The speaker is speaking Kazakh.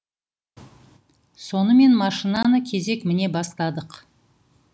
сонымен машинаны кезек міне бастадық